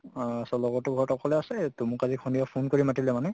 অহ so লগৰতো ঘৰত অকলে আছে তʼ মোক আজি সন্ধিয়া phone কৰি মাতিলে মানে